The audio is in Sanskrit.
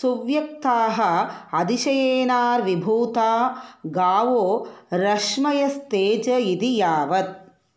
सुव्यक्ताः अतिशयेनाविर्भूता गावो रश्मयस्तेज इति यावत्